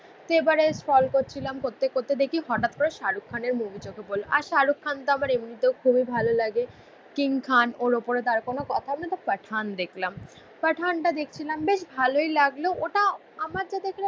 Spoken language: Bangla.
সেবারে স্ক্রল করছিলাম. করতে করতে দেখি হঠাৎ করে শাহরুখ খানের মুভি চোখে পড়ল. আর শাহরুখ খান তো আমার এমনিতেও খুবই ভালো লাগে, কিং খান ওর ওপরে তার কোনো কথা আমি তো পাঠান দেখলাম, পাঠান দেখছিলাম. বেশ ভালোই লাগলো. ওটা আমার যা দেখার